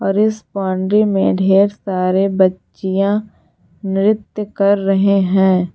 और इस बाउंड्री में ढेर सारे बच्चियां नृत्य कर रहे है।